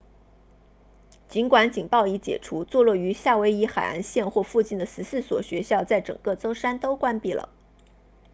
尽管警报已解除坐落于夏威夷海岸线或附近的14所学校在整个周三都关闭了